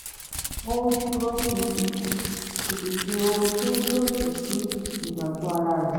ó dúróṣinṣin kò sì ṣe ohun tó lòdì sí ìgbàgbọ́ ara rẹ̀